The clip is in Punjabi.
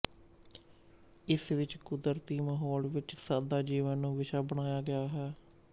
ਇਸ ਵਿੱਚ ਕੁਦਰਤੀ ਮਾਹੌਲ ਵਿੱਚ ਸਾਦਾ ਜੀਵਨ ਨੂੰ ਵਿਸ਼ਾ ਬਣਾਇਆ ਗਿਆ ਹੈ